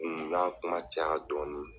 u y'a kuma caya dɔɔni.